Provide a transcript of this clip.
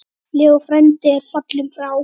Leó frændi er fallinn frá.